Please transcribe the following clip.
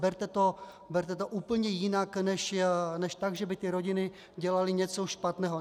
Berte to úplně jinak než tak, že by ty rodiny dělaly něco špatného.